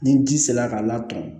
Ni ji sera ka latɔn